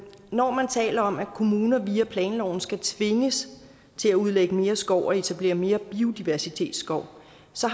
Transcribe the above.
når man taler om at kommuner via planloven skal tvinges til at udlægge mere skov og etablere mere biodiversitetsskov